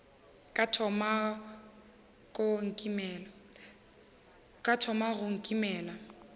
ka o thoma go nkimela